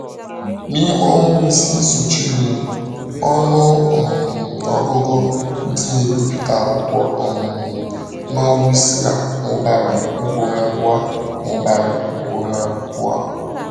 N’ime ọnwa isii sochirinụ, ọnụ um ọgụgụ ndị na-ebipụta akwụkwọ um nọ Wisła mụbara ugboro abụọ. mụbara ugboro abụọ.